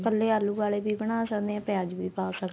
ਕੱਲੇ ਆਲੂ ਵਾਲੇ ਵੀ ਬਣਾ ਸਕਦੇ ਆ ਪਿਆਜ ਵੀ ਪਾ ਸਕਦੇ ਆ